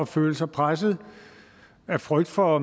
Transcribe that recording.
føle sig presset af frygt for